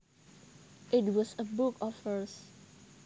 It was a book of verse